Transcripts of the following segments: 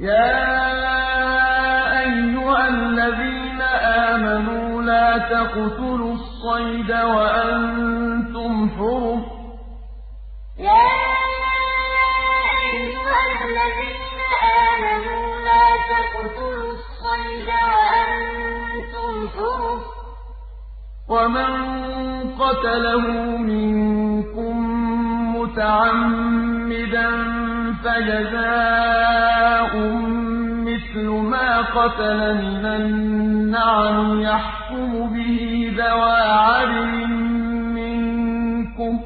يَا أَيُّهَا الَّذِينَ آمَنُوا لَا تَقْتُلُوا الصَّيْدَ وَأَنتُمْ حُرُمٌ ۚ وَمَن قَتَلَهُ مِنكُم مُّتَعَمِّدًا فَجَزَاءٌ مِّثْلُ مَا قَتَلَ مِنَ النَّعَمِ يَحْكُمُ بِهِ ذَوَا عَدْلٍ مِّنكُمْ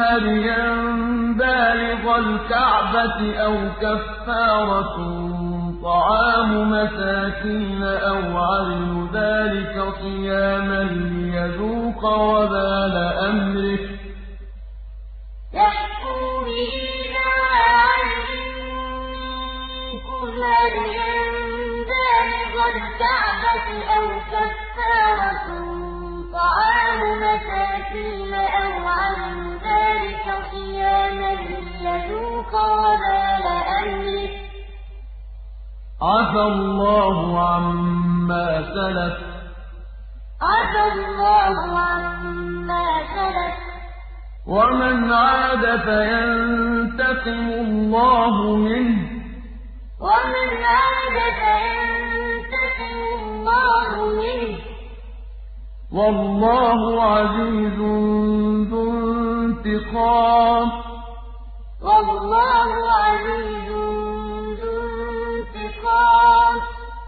هَدْيًا بَالِغَ الْكَعْبَةِ أَوْ كَفَّارَةٌ طَعَامُ مَسَاكِينَ أَوْ عَدْلُ ذَٰلِكَ صِيَامًا لِّيَذُوقَ وَبَالَ أَمْرِهِ ۗ عَفَا اللَّهُ عَمَّا سَلَفَ ۚ وَمَنْ عَادَ فَيَنتَقِمُ اللَّهُ مِنْهُ ۗ وَاللَّهُ عَزِيزٌ ذُو انتِقَامٍ يَا أَيُّهَا الَّذِينَ آمَنُوا لَا تَقْتُلُوا الصَّيْدَ وَأَنتُمْ حُرُمٌ ۚ وَمَن قَتَلَهُ مِنكُم مُّتَعَمِّدًا فَجَزَاءٌ مِّثْلُ مَا قَتَلَ مِنَ النَّعَمِ يَحْكُمُ بِهِ ذَوَا عَدْلٍ مِّنكُمْ هَدْيًا بَالِغَ الْكَعْبَةِ أَوْ كَفَّارَةٌ طَعَامُ مَسَاكِينَ أَوْ عَدْلُ ذَٰلِكَ صِيَامًا لِّيَذُوقَ وَبَالَ أَمْرِهِ ۗ عَفَا اللَّهُ عَمَّا سَلَفَ ۚ وَمَنْ عَادَ فَيَنتَقِمُ اللَّهُ مِنْهُ ۗ وَاللَّهُ عَزِيزٌ ذُو انتِقَامٍ